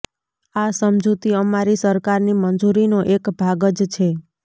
આ સમજૂતી અમારી સરકારની મંજૂરીનો એક ભાગ જ છે